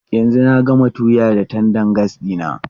Yanzu na gama tuya da tandan gas ɗina.